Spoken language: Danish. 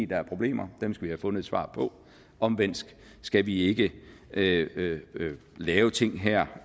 der er problemer dem skal vi have fundet et svar på omvendt skal vi ikke lave lave ting her